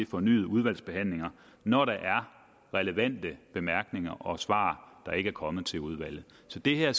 fornyet udvalgsbehandling når der er relevante bemærkninger og svar der ikke er kommet til udvalget så det her